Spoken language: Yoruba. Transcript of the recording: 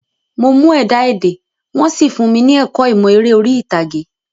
Mo mú ẹ̀dá-èdè, wọ́n sì fúnmi ní ẹ̀kọ́ ìmọ̀ eré orí ìtàgé.